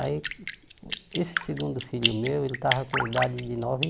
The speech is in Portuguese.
Aí, esse segundo filho meu, ele estava com idade de nove